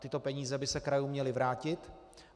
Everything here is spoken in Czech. Tyto peníze by se krajům měly vrátit.